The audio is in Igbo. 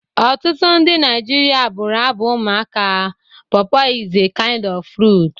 Ọtụtụ ndị Naijiria bụrụ abụ ụmụaka "Pọọpọ is a kind of fruit"